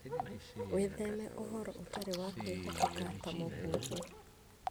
Wĩtheme ũhoro ũtarĩ wa kwĩhokeka ta mũhuhu.